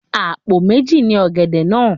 Àpò méji ni ọ̀gẹ̀dẹ̀ náà.